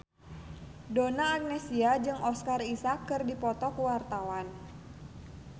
Donna Agnesia jeung Oscar Isaac keur dipoto ku wartawan